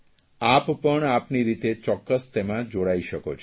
આપ પણ આપની રીતે ચોક્કસ તેમાં જોડાઇ શકો છો